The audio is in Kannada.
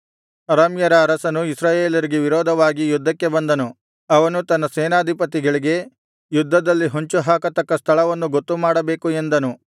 ಅರಾಮ್ಯರ ಅರಸನು ಇಸ್ರಾಯೇಲರಿಗೆ ವಿರೋಧವಾಗಿ ಯುದ್ಧಕ್ಕೆ ಬಂದನು ಅವನು ತನ್ನ ಸೇನಾಧಿಪತಿಗಳಿಗೆ ಯುದ್ಧದಲ್ಲಿ ಹೊಂಚುಹಾಕತಕ್ಕ ಸ್ಥಳವನ್ನು ಗೊತ್ತುಮಾಡಬೇಕು ಎಂದನು